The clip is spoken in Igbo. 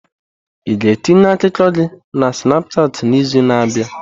Ị ga-etinye akụkọ gị na Snapushat n'izu na-abịa?